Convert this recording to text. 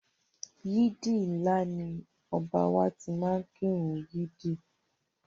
Ọba ìlú u wa sọ pé ọmọ olè tí ọwọ́ bá tẹ̀, ó di àtìmọ́lé